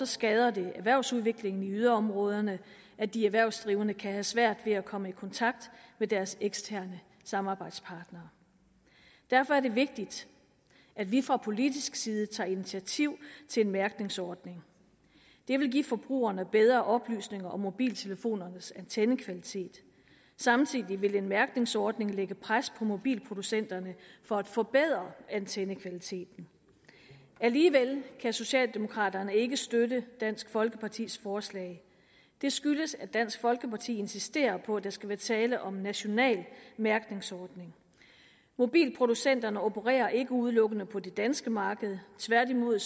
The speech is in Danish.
skader det erhvervsudviklingen i yderområderne at de erhvervsdrivende kan have svært ved at komme i kontakt med deres eksterne samarbejdspartnere derfor er det vigtigt at vi fra politisk side tager initiativ til en mærkningsordning det vil give forbrugerne bedre oplysning om mobiltelefonernes antennekvalitet samtidig vil en mærkningsordning lægge pres på mobilproducenterne for at forbedre antennekvaliteten alligevel kan socialdemokraterne ikke støtte dansk folkepartis forslag det skyldes at dansk folkeparti insisterer på at der skal være tale om en national mærkningsordning mobilproducenterne opererer ikke udelukkende på det danske marked tværtimod